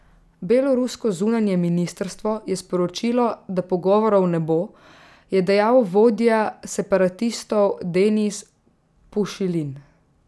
Belorusko zunanje ministrstvo je sporočilo, da pogovorov ne bo, je dejal vodja separatistov Denis Pušilin.